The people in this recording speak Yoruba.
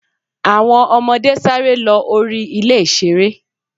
àwọn ọmọde saré lo rí ilé ìsere.